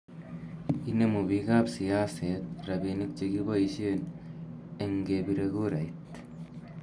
inemu biikap siaset robinik chegiboishen eng kepiree kurait